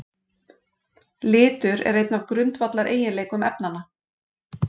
Litur er einn af grundvallareiginleikum efnanna.